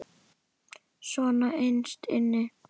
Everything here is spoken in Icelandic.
Svona innst inni.